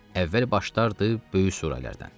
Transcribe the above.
Əvvəl başlardı böyük surələrdən.